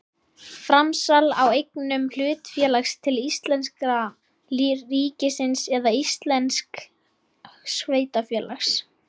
Framsal á eignum hlutafélags til íslenska ríkisins eða íslensks sveitarfélags.